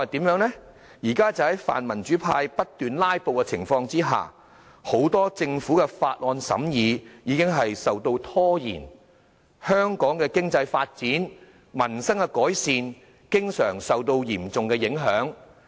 現時在民主派不斷"拉布"下，很多政府法案的審議已被拖延，香港的經濟發展及民生改善經常受到嚴重影響。